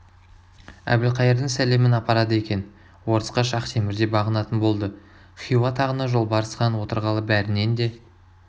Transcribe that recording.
әбілқайырдың сәлемін апарады екен орысқа шахтемір де бағынатын болды хиуа тағына жолбарыс хан отырғалы бәрінен де